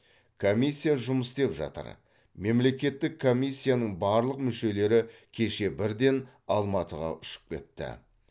комиссия жұмыс істеп жатыр мемлекеттік комиссияның барлық мүшелері кеше бірден алматыға ұшып кетті